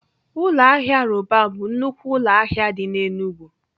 Ụlọ ahịa Roban bụ nnukwu ụlọ ahịa dị n'Enugwu.